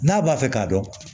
N'a b'a fɛ k'a dɔn